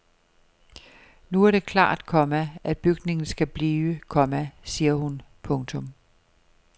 Nu er det klart, komma at bygningen skal blive, komma siger hun. punktum